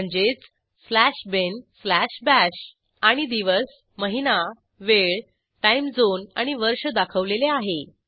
म्हणजेच slash bin slash bash आणि दिवस महिना वेळ टाईम झोन आणि वर्ष दाखवलेले आहे